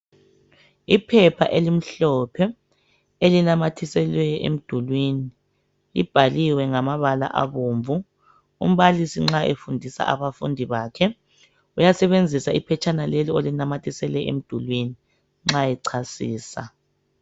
Iphepha elimhlophe elinamathiselwe emdulini libhaliwe ngamabala abomvu. Umbalisi nxa efundisa abafundi bakhe uyasebenzisa iphetshana leli olinamathisele emdulini nxa echasisa.